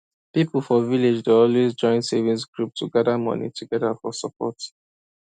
people for village dey always join savings group to gather money together for support